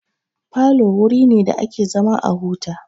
Falo wuri ne da ake zama a huta.